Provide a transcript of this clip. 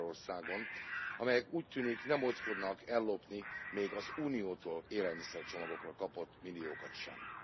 Magyarországon, amelyek, úgy tűnik, nem ódzkodnak ellopni még az Uniótól élelmiszercsomagokra kapott milliókat sem.